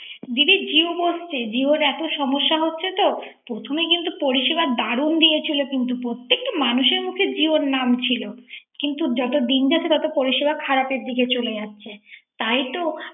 দিদি জিও জিওর এত সমস্যা হচ্ছে তো। প্রথমে কিন্ত পরিসেবা দারুন দিয়েছিল। প্রত্যেকটা মানুষের মুখে জিওর নাম ছিল। কিন্ত যত দিন যাচ্ছে তত পরিসেবা খারাপের দিকে চলে যাচ্ছে। তাই তো